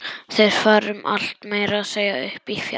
Þeir fara um allt, meira að segja upp í fjall.